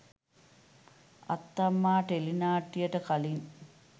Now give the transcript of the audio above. අත්තම්මා ටෙලිනාට්‍යයට කලින්